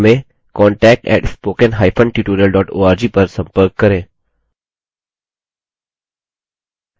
अधिक जानकारी के लिए contact @spokentutorial org पर संपर्क करें